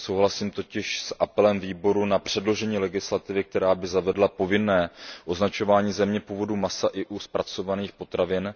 Souhlasím totiž s apelem výboru na předložení legislativy, která by zavedla povinné označování země původu masa i u zpracovaných potravin.